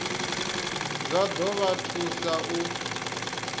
zwa ḓo vha thusa u